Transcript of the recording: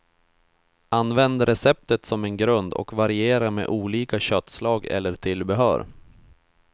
Använd receptet som en grund och variera med olika köttslag eller tillbehör.